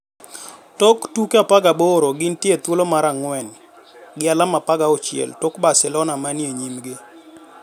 Tok tuke 18 gintie e thuolo mar 4, gi alama 16 tok Barcelona manie nyimgi..